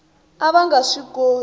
a va nga swi koti